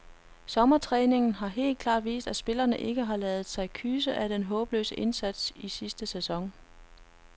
Sommertræningen har helt klart vist, at spillerne ikke har ladet sig kyse af den håbløse indsats i sidste sæson.